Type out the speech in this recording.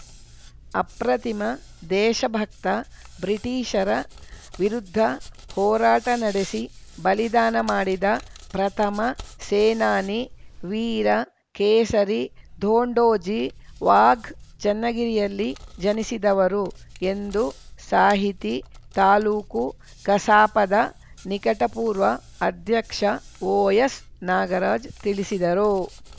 ಅಪ್ರತಿಮ ದೇಶಭಕ್ತ ಬ್ರಿಟೀಷರ ವಿರುದ್ಧ ಹೋರಾಟ ನಡೆಸಿ ಬಲಿದಾನ ಮಾಡಿದ ಪ್ರಥಮ ಸೇನಾನಿ ವೀರ ಕೇಸರಿ ಧೋಂಡೋಜಿ ವಾಘ್‌ ಚನ್ನಗಿರಿಯಲ್ಲಿ ಜನಿಸಿದವರು ಎಂದು ಸಾಹಿತಿ ತಾಲೂಕು ಕಸಾಪದ ನಿಕಟಪೂರ್ವ ಅಧ್ಯಕ್ಷ ಒಎಸ್‌ನಾಗರಾಜ್‌ ತಿಳಿಸಿದರು